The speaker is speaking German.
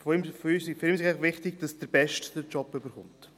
Für ihn sei einfach wichtig, dass der Beste den Job erhalte.